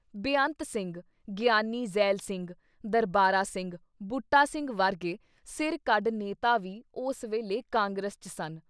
ਬੇਅੰਤ ਸਿੰਘ, ਗਿਆਨੀ ਜ਼ੈਲ ਸਿੰਘ, ਦਰਬਾਰਾ ਸਿੰਘ, ਬੂਟਾ ਸਿੰਘ ਵਰਗੇ ਸਿਰ ਕੱਢ ਨੇਤਾ ਵੀ ਉਸ ਵੇਲੇ ਕਾਂਗਰਸ ’ਚ ਸਨ।